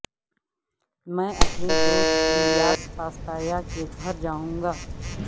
میں اپنے دوست للیاس پاستایا کے گھر جاوں گا